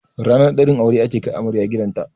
Ranar ɗaurin aure ake kai amarya gidanta